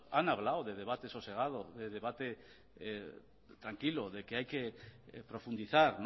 han hablado de debate sosegado debate tranquilo de que hay que profundizar